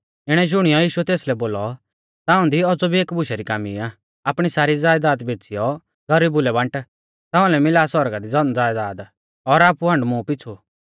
इणै शुणियौ यीशुऐ तेसलै बोलौ ताऊं दी औज़ौ भी एकी बुशा री कामी आ आपणी सारी ज़यदाद बेच़ीयौ गरीबु लै बांट ताउंलै मिला सौरगा दी धनज़यदाद और आपु हांड मुं आइलै